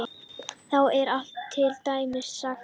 Þá er til dæmis sagt